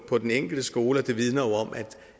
på den enkelte skole og det vidner jo om